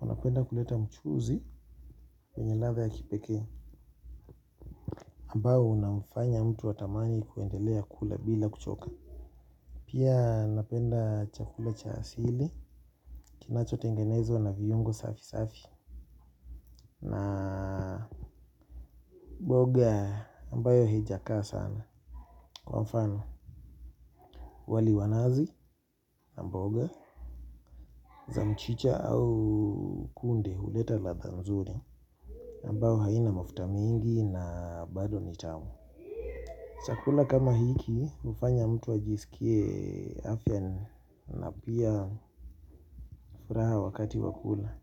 wanapenda kuleta mchuzi yenye latha ya kipekee ambao unamfanya mtu atamani kuendelea kula bila kuchoka. Pia napenda chakula cha hasili kinacho tengenezwa na vihungo safi safi na mboga ambayo hijakaa sana. Kwa mfano wali wanazi na mbaoga za mchicha au kunde huleta latha nzuri ambao haina mafuta mingi na bado nitamu. Chakula kama hiki hufanya mtu ajisikie afya ni napiya furaha wakati wakula.